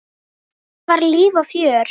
Það var líf og fjör.